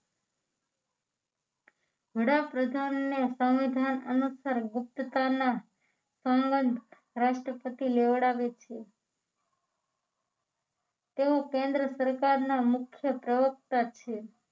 વડાપ્રધાને સંવિધાન અનુસાર ગુપ્તતા ના સંવત રાષ્ટ્રપતિ લેવડાવે છે તેઓ કેન્દ્ર સરકારના મુખ્ય પ્રયોક્તા છે